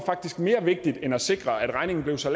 mere vigtigt end at sikre at regningen blev så